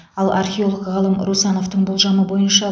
ал археолог ғалым русановтың болжамы бойынша